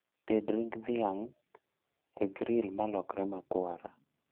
Ted ring' dhiang' e gril malokre makwar